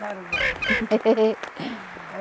Tarubá.